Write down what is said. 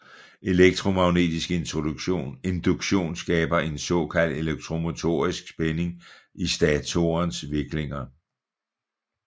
Elektromagnetisk induktion skaber en såkaldt elektromotorisk spænding i statorens viklinger